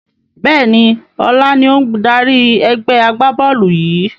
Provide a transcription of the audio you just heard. Bẹ́ẹ̀ni, ọlá ni ó ń dárí ẹgbẹ́ agbá-bọ́ọ́lù yìi